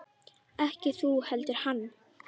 Ekki þú heldur hann.